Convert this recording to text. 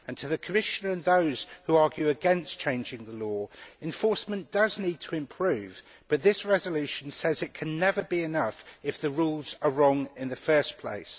To the Commissioner and those who argue against changing the law enforcement does need to improve, but this resolution says that it can never be enough if the rules are wrong in the first place.